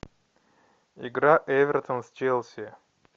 игра эвертон с челси